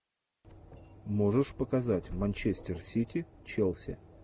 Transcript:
можешь показать манчестер сити челси